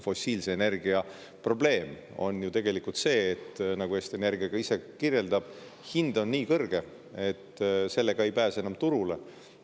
Fossiilse energia probleem on ju tegelikult see, nagu Eesti Energia ka ise kirjeldab, et hind on nii kõrge, et sellega ei pääse enam turule.